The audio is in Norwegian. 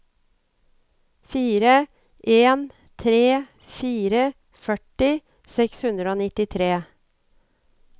fire en tre fire førti seks hundre og nittitre